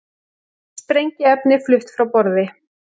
Sprengiefni flutt frá borði